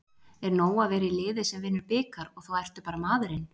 Er nóg að vera í liði sem vinnur bikar og þá ertu bara maðurinn?